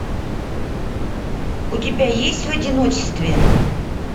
у тебя есть в одиночестве